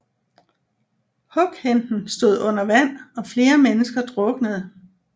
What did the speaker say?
Hughenden stod under vand og flere mennesker druknede